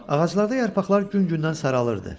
Ağaclarda yarpaqlar gün gündən saralırdı.